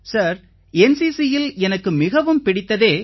sir NCCயில் எனக்கு மிகவும் பிடித்ததே